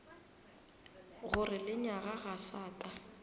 gore lenyaga ga sa ka